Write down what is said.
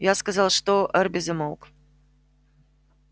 я сказал что эрби замолк